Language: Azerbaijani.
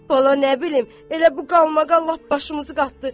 "Bala nə bilim, elə bu qalmaqal lap başımızı qatdı.